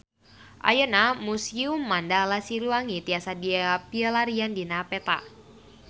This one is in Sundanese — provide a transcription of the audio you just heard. Ayeuna Museum Mandala Siliwangi tiasa dipilarian dina peta